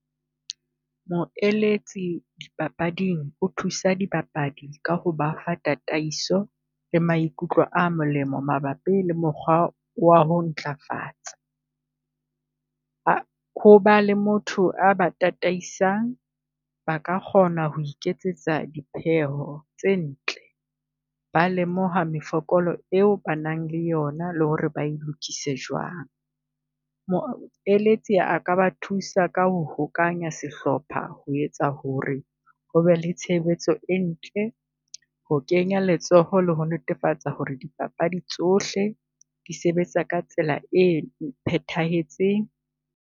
Moeletsi dipapading o thusa dipapadi ka ho ba ha tataiso le maikutlo a molemo mabapi le mokgwa wa ho ntlafatsa. Ho ba le motho a ba tataisang ba ka kgona ho iketsetsa dipheo tse ntle ba lemoha mefokolo eo ba nang le yona le ho re ba e lokise jwang. Moeletsi a ka ba thusa ka ho hokanya sehlopha ho etsa ho re ho be le tshebetso e ntle, ho kenya letsoho le ho netefatsa ho re dipapadi tsohle di sebetsa ka tsela e phethahetseng.